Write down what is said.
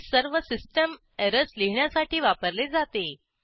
हे सर्व system errors लिहिण्यासाठी वापरले जाते